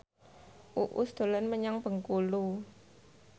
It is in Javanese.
Uus dolan menyang Bengkulu